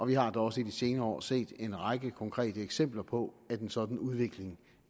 vi har da også i de senere år set en række konkrete eksempler på at en sådan udvikling